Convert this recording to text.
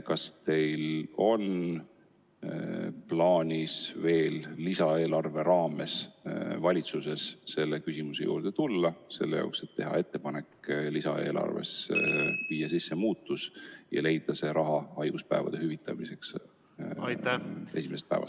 Kas teil on plaanis valitsuses lisaeelarve raames veel selle küsimuse juurde tulla, et teha ettepanek lisaeelarvet muuta ja leida raha haiguspäevade hüvitamiseks esimesest päevast alates?